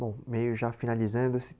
Bom, meio já finalizando.